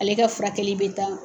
Ale ka furakɛli bɛ taa.